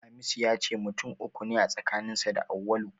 Hamisu ya ce mutum uku ne a tsakaninsa da Auwalu.